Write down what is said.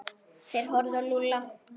Þeir horfðu á Lúlla.